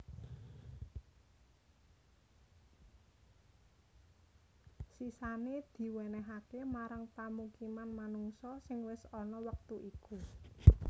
Sisané diwènèhaké marang pamukiman manungsa sing wis ana wektu iku